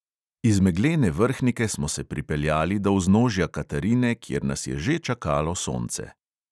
Iz meglene vrhnike smo se pripeljali do vznožja katarine, kjer nas je že čakalo sonce.